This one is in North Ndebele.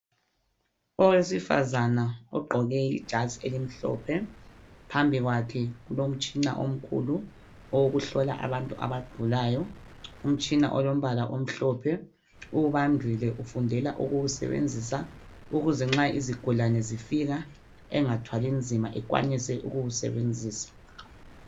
Owesifazana ogqoke ijazi elimhlophe phambi kwakhe kulomtshina omkhulu owokuhlola abantu abagulayo Umtshina olombala omhlophe uwubambile ufundela ukuwusebenzisa ukuze nxa izigulane zifika engathwali nzima ekwanise ukuwu sebenzisa